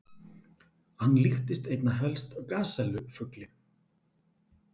Hann líktist einna helst gasellu-fugli.